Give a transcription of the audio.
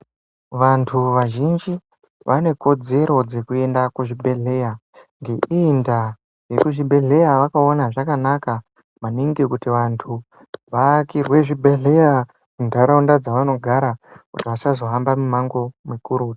Vantu vazhinji ,vane kodzero dzekuenda kuzvibhedhleya. Ngeiyi ndaa, vekuzvibhedhleya vakaona zvakanaka, maningi kuti vantu, vaakirwe zvibhedhleya muntaraunda dzavanogara, kuti vasazohamba mimango mikuru.